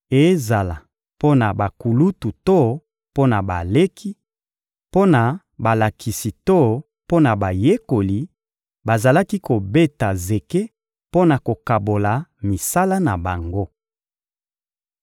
Ezala mpo na bakulutu to mpo na baleki, mpo na balakisi to mpo na bayekoli, bazalaki kobeta zeke mpo na kokabola misala na bango.